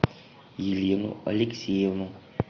елену алексеевну